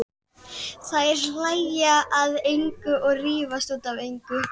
Þær hlæja að engu og rífast út af engu.